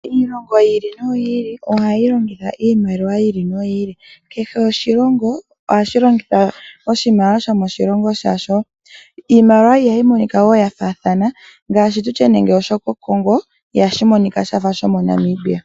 Iilongo yili noyili ohayi longitha iimaliwa yayoolokathana. Kehe oshilongo ohashi longitha oshimaliwa shasho. Iimaliwa ihayi monika yafaathana ngaashi shokoCongo ihashi monika shafa shaNamibia.